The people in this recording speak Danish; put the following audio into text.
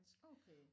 Okay